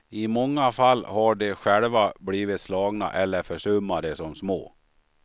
I många fall har de själva blivit slagna eller försummade som små.